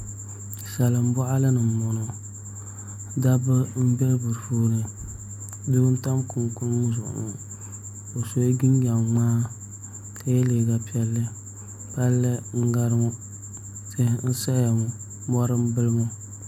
Salin boɣali ni n boŋo dabba n bɛ di puuni doo n tam kunikuni zuɣu o sola jinjɛm ŋmaa ka yɛ liiga piɛlli palli n gari ŋo tihi n saya ŋo mori n bili ŋo